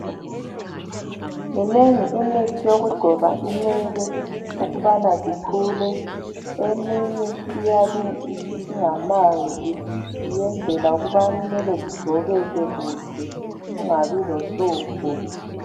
Minengi imithi yokugcoba inwele ukubana zikhule .Eminye iyabe ingamanzi iyenzela ukubana inwele zigcobeke kuhle kungabi lohlupho.